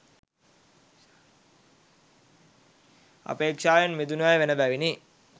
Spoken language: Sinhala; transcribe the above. අපේක්ෂාවෙන් මිදුණු අය වන බැවිනි.